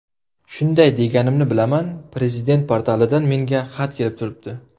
Shunday deganimni bilaman, Prezident portalidan menga xat kelib turibdi.